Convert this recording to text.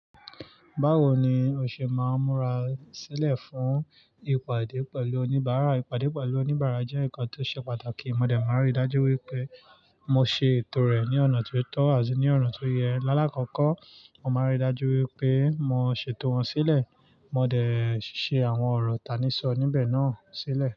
Báwo ni o ṣe máa múra sílẹ̀ fún ìpàdé pẹ̀lú oníbàárà? Ìpàdé pẹ̀lú oníbàárà jẹ́ ǹkan tó ṣe pàtàkì. Mo dẹ̀ máa rí i dájú wípé mo ṣe ètò rè ní ọ̀nà ti o tó àti ní ọ̀nà tó yẹ. Lálákọkọ, mo máa n rí i dájú wípé mo ṣètò wọ́n sílẹ̀. Mo dẹ̀ ṣe àwọn ọ̀rọ̀ tanísọ̀ọ́ níbẹ̀ náà sílẹ̀.